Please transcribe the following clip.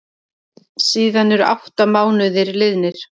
Síðan eru átta mánuðir liðnir.